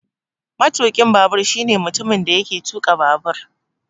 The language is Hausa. Matukin babur shine mutumin da yake tuka babur